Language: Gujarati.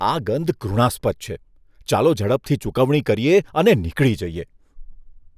આ ગંધ ઘૃણાસ્પદ છે. ચાલો ઝડપથી ચૂકવણી કરીએ અને નીકળી જઈએ.